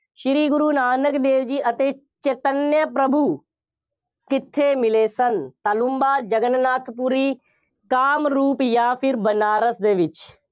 ਸ਼੍ਰੀ ਗੁਰੂ ਨਾਨਕ ਦੇਵ ਜੀ ਅਤੇ ਚੇਤਨੰਆਂ ਪ੍ਰਭੂ ਕਿੱਥੇ ਮਿਲੇ ਸਨ? ਤਾਲੂੰਬਾ, ਜਗਨ-ਨਾਥ ਪੁਰੀ, ਕਾਮਰੂਪ ਜਾਂ ਫਿਰ ਬਨਾਰਸ ਦੇ ਵਿੱਚ।